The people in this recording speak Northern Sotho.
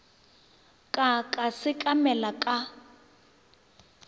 ka ka ka sekamela ka